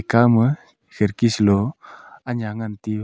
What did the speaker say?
kaw ma khirki sa low aya ngan te uu.